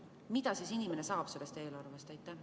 Mida siis inimene saab sellest eelarvest?